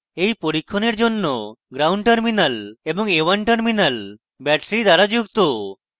a1 পরীক্ষণের জন্য ground gnd terminal এবং a1 terminal battery দ্বারা যুক্ত